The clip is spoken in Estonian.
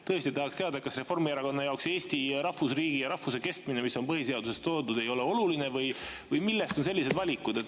Tõesti tahaks teada, kas Reformierakonna jaoks Eesti kui rahvusriigi, meie rahvuse kestmine, mis on põhiseaduses kirjas, ei ole oluline või millest on tingitud sellised valikud.